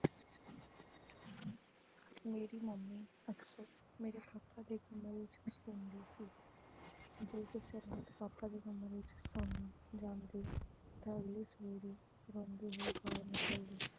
ਮੇਰੀ mummy ਅਕਸਰ ਮੇਰੇ papa ਦੇ ਕਮਰੇ ਵਿੱਚ ਸੌਂਦੀ ਸੀ ਜਦੋਂ ਰਾਤ papa ਦੇ ਕਮਰੇ ਸੌਣ ਨੂੰ ਜਾਂਦੀ ਤਾਂ ਅਗਲੀ ਸਵੇਰੇ ਰੋਂਦੀ ਹੋਈ ਬਾਹਰ ਨਿਕਲਦੀ।